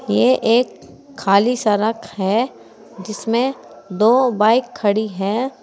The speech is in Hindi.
ये एक खाली सड़क है जिसमें दो बाइक खड़ी है।